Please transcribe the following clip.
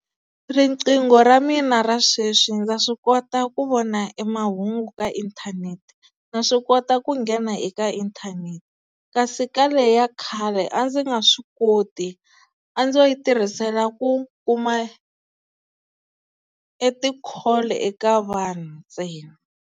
Riqingho ra mina ra sweswi ndza swi kota ku vona e mahungu ka inthanete, na swi kota ku nghena eka inthanete kasi eka leya khale a ndzi nga swi koti a ndzo yi tirhisela ku kuma e ti-call eka vanhu ntsena.